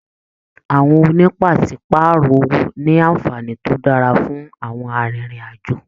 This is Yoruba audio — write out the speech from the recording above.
Àwọn ònípasepàárọ̀ owó ní anfààní to dára fún àwọn arinrin-ajo.